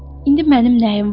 İndi mənim nəyim var?